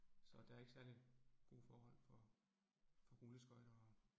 Så der ikke særlig gode forhold for for rulleskøjter og